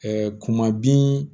kuma bin